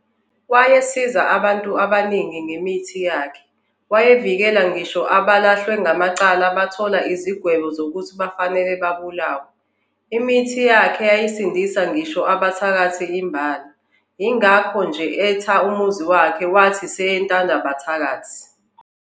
Wayesiza abantu abaningi ngemithi yakhe, wayevikela ngisho abalahlwe ngamacala bathola izigwebo zokuthi kufanele babulawe. Imithi yakhe yayisindisa ngisho abathakathi imbala, yingakho nje etha umuzi wakhe wathi yis, Entandabathakathi.